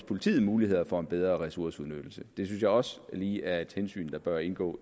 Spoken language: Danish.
politiet mulighed for en bedre ressourceudnyttelse det synes jeg også lige er et hensyn der bør indgå